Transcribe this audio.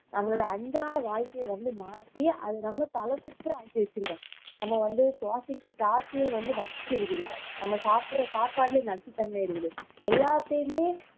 நம்மளோட அன்றாட வாழ்க்கைய வந்து மாற்றி அது நம்ம நம்ம வந்து சுவாசிக்க காற்றிலே வந்து நச்சு இருக்குது நம்ம சாப்பிடுற சாப்பாட்டுலேயே நச்சுத்தன்மை இருக்குது எல்லாத்தையுமே